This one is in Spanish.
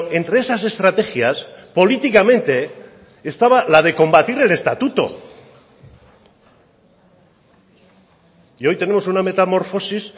entre esas estrategias políticamente estaba la de combatir el estatuto y hoy tenemos una metamorfosis